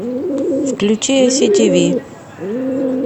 включи ай си тиви